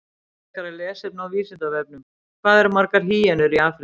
Frekara lesefni á Vísindavefnum: Hvað eru margar hýenur í Afríku?